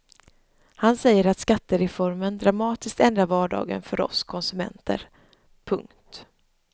Han säger att skattereformen dramatiskt ändrar vardagen för oss konsumenter. punkt